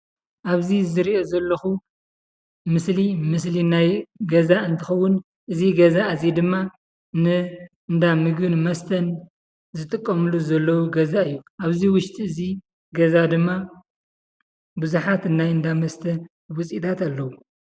ኣብዚ ዝሪኦ ዘለኹ ምስሊ ምስሊ ናይ ገዛ እንትኸዉን እዚ ገዛ እዚይ ድማ ንእንዳ ምግቢ መስተን ዝጥቀምሉ ዘሎ ው ገዛ እዩ ኣብዚ ውሽጢ ገዛ ድማ ብዝሓት ናይ እንዳ መስተ ውፅእታት ኣለዉ።